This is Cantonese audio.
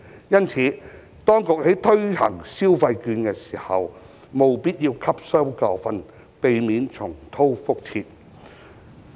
因此，當局在推行消費券時，務必汲取教訓，避免重蹈覆轍。